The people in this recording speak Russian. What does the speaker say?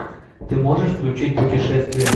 ты можешь включить путешествие